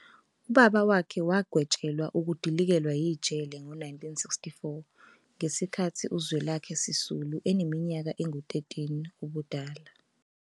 Ubaba wakhe wagwetshelwa ukudilikelwa yijele ngo-1964 ngesikhathi uZwelakhe Sisulu eneminyaka engu-13 ubudala.